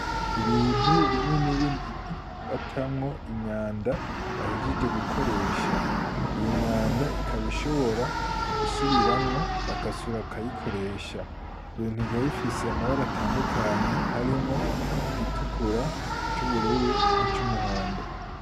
Ibintu binini binini batamwo imyanda bahijije gukoresha iyo myanda ikabishobora gusubiramwo bakasura akayikoresha jo gintu kikabifise amabara atandukanyi harimwo igitukura c'ubururu n'ic'umuhondo.